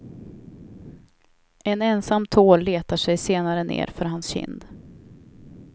En ensam tår letar sig senare ner för hans kind.